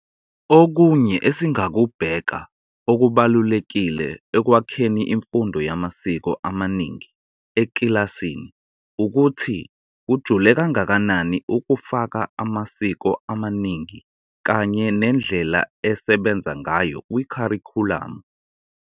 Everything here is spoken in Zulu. Okunye esingaku bheka okubalulekile okwakheni imfundo yamasiko amaningi ekilasini ukuthu kujule kangakanani ukufaka amasiko amaningi kanye nendlela esebenza ngayo kwi kharikhulamu.